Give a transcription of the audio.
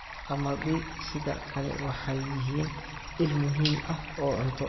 Qamadi sidaa kale waxay yihiin il muhiim ah oo cunto.